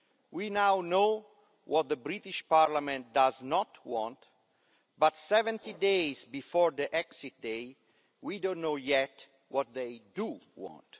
We now know what the British Parliament does not want but, 70 days before the exit day, we don't yet know what they do want.